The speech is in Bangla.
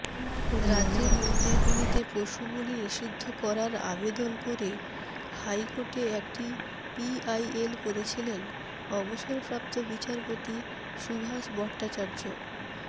রাজ্যের মন্দিরগুলিতে পশুবলি নিষিদ্ধ করার আবেদন করে হাইকোর্টে একটি পিআইএল করেছিলেন অবসরপ্রাপ্ত বিচারপতি সুভাষ ভট্টাচার্য